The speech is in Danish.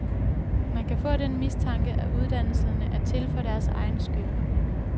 Man kan få den mistanke, at uddannelserne er til for deres egen skyld.